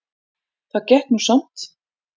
Það gekk nú samt